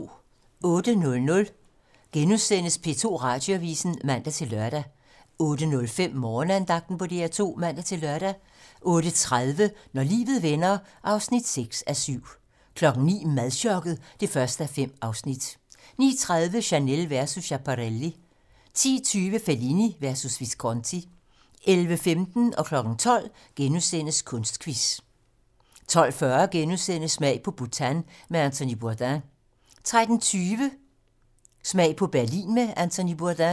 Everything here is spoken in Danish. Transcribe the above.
08:00: P2 Radioavisen *(man-lør) 08:05: Morgenandagten på DR2 (man-lør) 08:30: Når livet vender (6:7) 09:00: Madchokket (1:5) 09:30: Chanel versus Schiaparelli 10:20: Fellini versus Visconti 11:15: Kunstquiz * 12:00: Kunstquiz * 12:40: Smag på Bhutan med Anthony Bourdain * 13:20: Smag på Berlin med Anthony Bourdain